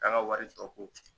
An ka wari tɔgɔ ko.